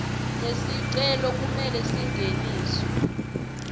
lesicelo kumele singeniswe